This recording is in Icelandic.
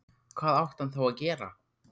Hvað átti hann þá að gera?